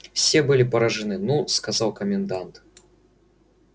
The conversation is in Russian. все были поражены ну сказал комендант